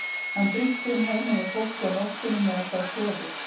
Hann brýst inn heima hjá fólki á nóttunni meðan það sefur.